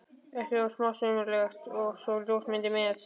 ekki of smásmugulegt- og svo ljósmyndir með.